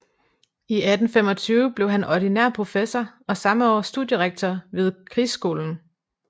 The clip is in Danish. I 1825 blev han ordinær professor og samme år studierektor vid krigsskolen